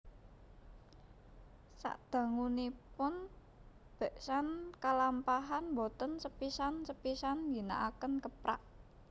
Sadangunipun beksan kalampahan boten sepisan sepisan ngginakaken keprak